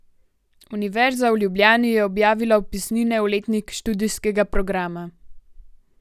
Univerza v Ljubljani je objavila vpisnine v letnik študijskega programa.